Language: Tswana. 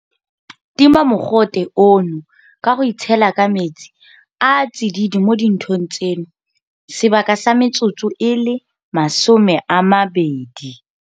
Tima mogote ono ka go itshela ka metsi a a tsididi mo dinthong tseno sebaka sa metsotso e le 20.